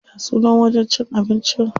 Ya sunan wajen cin abincin?